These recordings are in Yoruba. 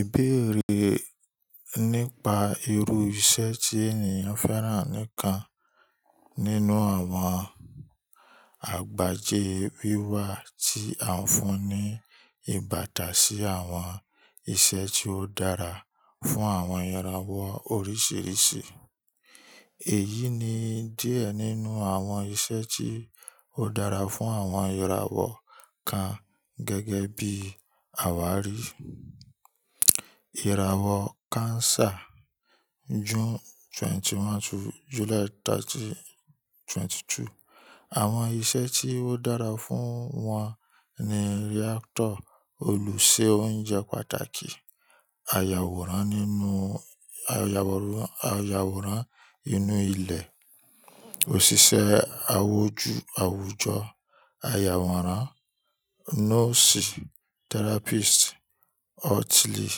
Ìbéèrè nípa irú iṣẹ́ tí ènìyàn fẹ́ràn nìkan nínú àwọn àgbájé wíwá tí a ń fún ní ìbátan sí àwọn iṣẹ́ tí ó dára fún àwọn ìràwọ̀ oríṣìíríṣìí. Èyí ni díẹ̀ nínú àwọn iṣẹ́ tí ó dára fún àwọn ìràwọ̀ kan gẹ́gẹ́ bí àwá rí. Ìràwọ̀ Cancer June 21 to July 30, 22. Àwọn iṣẹ́ tí ó dára fún wọn ni reactor, olùṣe oúnjẹ pàtàkì, ayàwòrán nínú ayàwòrán, ayàwòrán inú ilẹ̀, òṣìṣẹ́ awóju awujọ, ayàwòrán, nọ́ọ̀sì, therapist, hotelier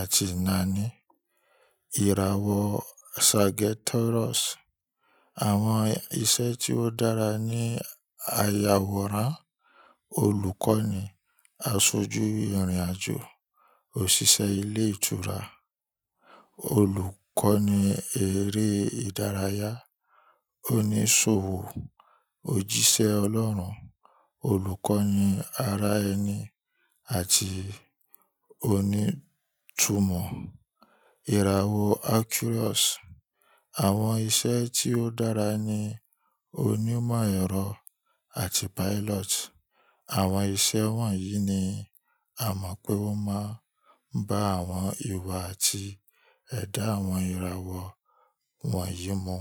àti nàání. Ìràwọ̀ Sagittarius. Àwọn iṣẹ́ tí ó dára ni ayàwòrán, olùkọ́ni, aṣojú ìrìnàjò, òṣìṣẹ́ ilé ìtura, olùkọ́ni eré ìdárayá, oníṣòwò, òjíṣẹ́ ọlọ́run, olùkọ́ni ara ẹni àti onítumọ̀. Ìràwọ̀ Aquarius. Àwọn iṣẹ́ tí ó dára ni onímọ̀ ẹ̀rọ àti pilot. Àwọn iṣẹ́ wọ̀nyí ni a mọ̀ pé wọ́n máa ń bá àwọn ìwà àti ẹ̀dá àwọn ìràwọ̀ wọ̀nyí mu.